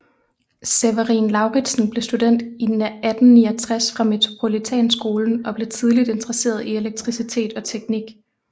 Severin Lauritzen blev student 1869 fra Metropolitanskolen og blev tidligt interesseret i elektricitet og teknik